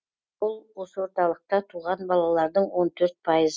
ол осы орталықта туған балалардың он төрт пайыз